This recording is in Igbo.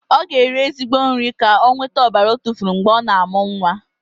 Ọ ga-eri ezigbo nri ka o nwete ọbara ọ tufuru mgbe ọ na-amụ nwa.